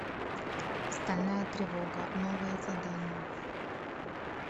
стальная тревога новое задание